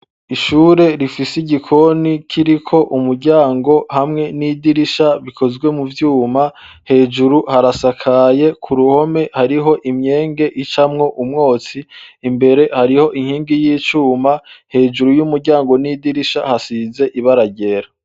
Ishure rifise igikoni kiriko umuryango hamwe n'idirisha bikozwe mu vyuma hejuru harasakaye ku ruhome hariho imyenge icamwo umwotsi imbere hariho inkingi y'icuma hejuru y'umuryango n'idirisha hasize ibaragera.